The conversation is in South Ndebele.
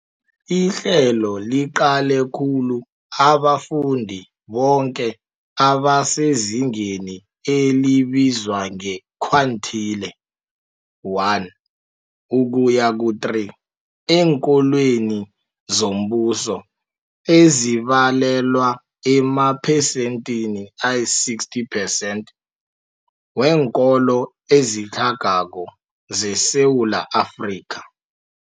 Ihlelo liqale khulu abafundi boke abasezingeni elibizwa nge-quintile 1-3 eenkolweni zombuso, ezibalelwa emaphesenthini ayi-60 percent weenkolo ezitlhagako zeSewula Afrika.